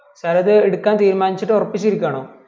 sir എ അത് എടുക്കാൻ തീരുമാനിച്ചിട്ട് ഒറപ്പിച്ഛ് ഇരിക്കണോ